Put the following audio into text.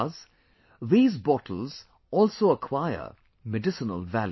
Thus, these bottles also acquire medicinal value